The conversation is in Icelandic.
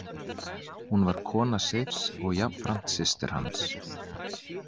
Hún var kona Seifs og jafnframt systir hans.